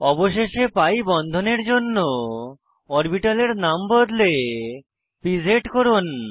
অবশেষে পি বন্ধনের জন্য অরবিটালের নাম বদলে পিজ লিখুন